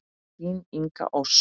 Þín Inga Ósk.